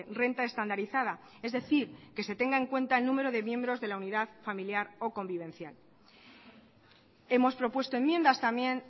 renta estandarizada es decir que se tenga en cuenta el número de miembros de la unidad familiar o convivencial hemos propuesto enmiendas también